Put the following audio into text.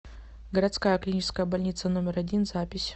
городская клиническая больница номер один запись